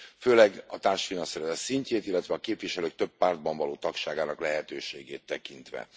Főleg a társfinanszírozás szintjét, illetve a képviselők több pártban való tagságának lehetőségét tekintve.